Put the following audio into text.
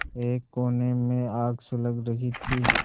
एक कोने में आग सुलग रही थी